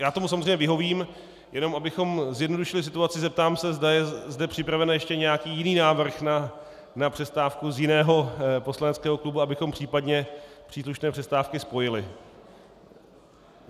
Já tomu samozřejmě vyhovím, jenom abychom zjednodušili situaci, zeptám se, zda je zde připraven ještě nějaký jiný návrh na přestávku z jiného poslaneckého klubu, abychom případně příslušné přestávky spojili.